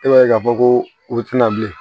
E b'a ye k'a fɔ ko u tɛna bilen